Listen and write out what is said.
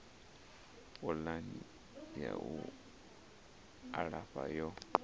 pulani ya u alafha yo